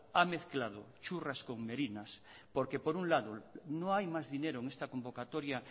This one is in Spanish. ha mezclado churras con merinas porque por un lado no hay más dinero en esta convocatoria